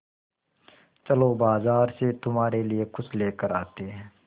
चलो बाज़ार से तुम्हारे लिए कुछ लेकर आते हैं